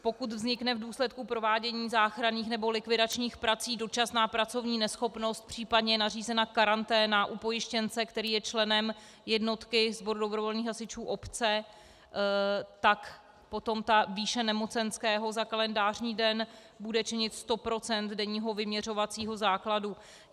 Pokud vznikne v důsledku provádění záchranných nebo likvidačních prací dočasná pracovní neschopnost, případně je nařízena karanténa u pojištěnce, který je členem jednotky sboru dobrovolných hasičů obce, tak potom ta výše nemocenského za kalendářní den bude činit 100 % denního vyměřovacího základu.